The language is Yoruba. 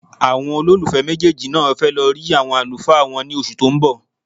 Àwọn olólùfẹ́ méjèèjì náà fẹ́ lọ rí àwọn àlùfáà wọn ní oṣù tó ń bọ̀.